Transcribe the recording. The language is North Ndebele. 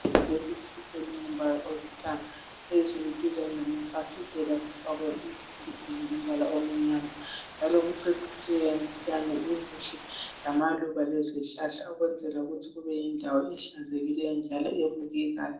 EYunivesithi kulombala olithanga, phezulu duzane lamafasitela kufakwe insimbi ezilombala omnyama njalo kucecisiwe ngotshani obuhle, lamaluba lezihlahla ukwenzela ukuthi kube yindawo ehlanzekileyo njalo ebukekayo.